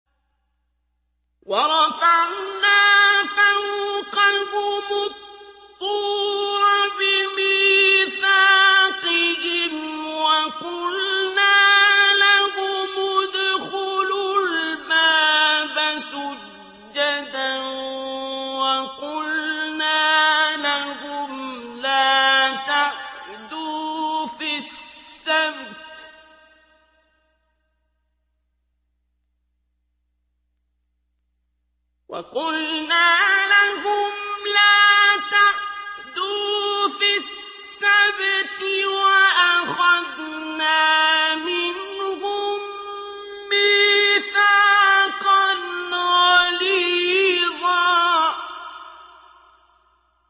وَرَفَعْنَا فَوْقَهُمُ الطُّورَ بِمِيثَاقِهِمْ وَقُلْنَا لَهُمُ ادْخُلُوا الْبَابَ سُجَّدًا وَقُلْنَا لَهُمْ لَا تَعْدُوا فِي السَّبْتِ وَأَخَذْنَا مِنْهُم مِّيثَاقًا غَلِيظًا